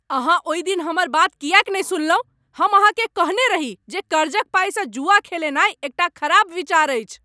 अहाँ ओहि दिन हमर बात किएक नहि सुनलहुँ? हम अहाँकेँ कहने रही जे कर्जक पाइसँ जुआ खेलेनाइ एकटा खराब विचार अछि।